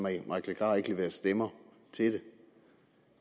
herre mike legarth ikke leverer stemmer til det